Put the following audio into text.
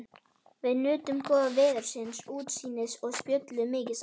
Við nutum góða veðursins, útsýnisins og spjölluðum mikið saman.